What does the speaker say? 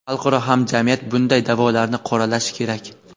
xalqaro hamjamiyat bunday da’volarni qoralashi kerak.